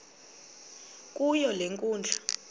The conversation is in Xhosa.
kuyo le nkundla